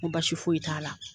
Ko baasi foyi t'a la.